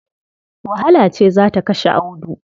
Wahala ce za ta kashe Audu.